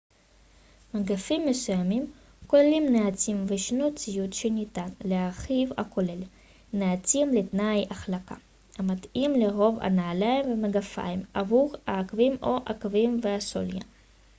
מגפיים מסוימים כוללים נעצים וישנו ציוד שניתן להרכיב הכולל נעצים לתנאי החלקה המתאים לרוב הנעליים והמגפיים עבור העקבים או העקבים והסוליה